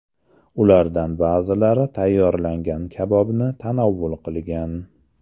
Ulardan ba’zilari tayyorlangan kabobni tanovul qilgan.